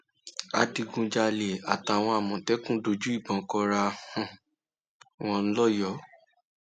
adigunjalè àtàwọn àmọtẹkùn dojú ìbọn kóra um wọn lọyọọ